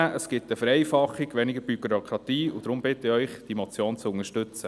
Das bringt eine Vereinfachung, weniger Bürokratie, und deshalb bitte ich Sie, diese Motion zu unterstützen.